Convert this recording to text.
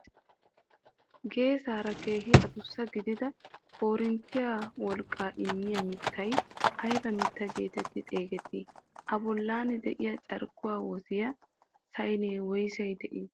Geesaara keehi addussa gidida korinttiyaa wolqqaa immiyaa miittay ayba mittaa getetti xeegettii? A bollan de'iyaa carkkuwaa woziyaa saynee woyssay de'ii?